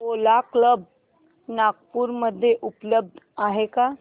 ओला cabs Nagpur मध्ये उपलब्ध आहे का